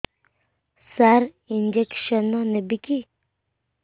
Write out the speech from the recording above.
ସାର injection ନେବିକି